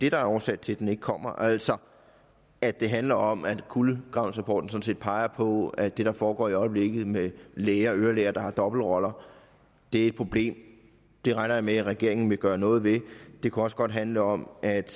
er årsag til at den ikke kommer altså at det handler om at kulegravningsrapporten sådan set peger på at det der foregår i øjeblikket med læger ørelæger der har dobbeltroller er et problem det regner jeg med at regeringen vil gøre noget ved det kunne også godt handle om at